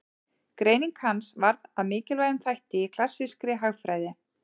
Greining hans varð að mikilvægum þætti í klassískri hagfræði.